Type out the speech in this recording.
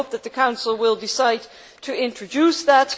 I hope that the Council decides to introduce that.